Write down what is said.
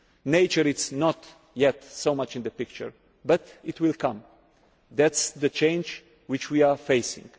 Nature is not yet so much in the picture, but it will come. That is the change which we are facing.